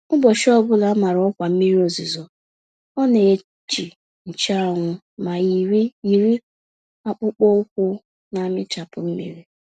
Ụbọchị ọbula a màrà ọkwa mmiri ozuzo ọ neji nche anwụ, ma yiri yiri akpụkpọ ụkwụ namịchapụ mmiri.